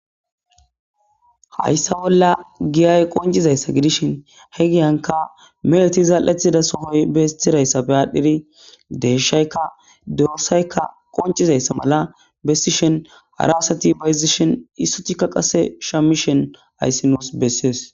hayssa bolla giyay qoncizayssa gidishin he giyanka meleti zaal7ethida sohoy beestirayssafe aadhdhiri deeshaykka dorsayka qoncizayssa mala bessishen harawasati baysishen issutikka qase shamishen ayssinos bessees